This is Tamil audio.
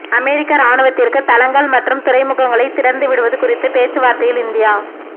அமெரிக்க இராணுவத்திற்கு தளங்கள் மற்றும் துறைமுகங்களை திறந்துவிடுவது குறித்த பேச்சுவார்த்தையில் இந்தியா